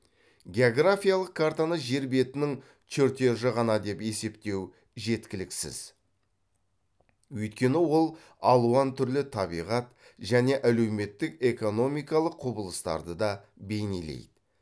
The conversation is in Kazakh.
географиялық картаны жер бетінің чертежі ғана деп есептеу жеткіліксіз өйткені ол алуан түрлі табиғат және әлеуметтік экономикалық құбылыстарды да бейнелейді